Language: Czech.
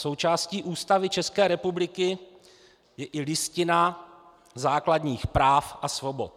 Součástí Ústavy České republiky je i Listina základních práv a svobod.